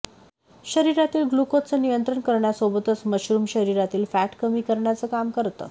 शरिरातील ग्लुकोजचं नियंत्रण करण्यासोबतच मशरूम शरिरातील फॅट कमी करण्याचं काम करतं